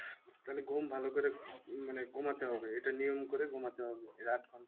তালে ঘুম ভালো করে মানে ঘুমাতে হবে এটা নিয়ম করে ঘুমাতে হবে